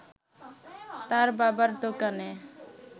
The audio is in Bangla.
তার বাবার দোকানে